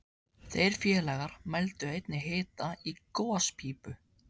Þeir félagar mældu einnig hita í gospípu